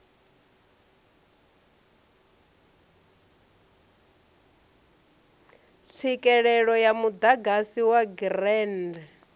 tswikelele ya muḓagasi wa grid